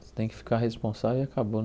Você tem que ficar responsável e acabou.